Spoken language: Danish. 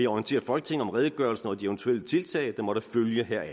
orientere folketinget om redegørelsen og de eventuelle tiltag der måtte følge heraf